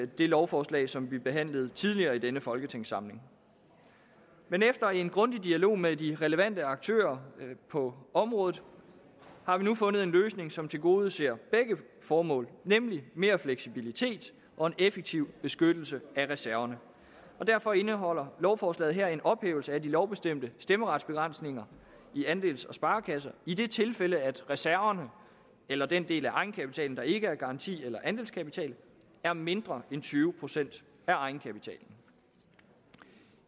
det lovforslag som vi behandlede tidligere i denne folketingssamling man efter en grundig dialog med de relevante aktører på området har vi nu fundet en løsning som tilgodeser begge formål nemlig mere fleksibilitet og en effektiv beskyttelse af reserverne derfor indeholder lovforslaget her en ophævelse af de lovbestemte stemmeretsbegrænsninger i andels og sparekasser i det tilfælde at reserverne eller den del af egenkapitalen der ikke er garanti eller andelskapital er mindre end tyve procent af egenkapitalen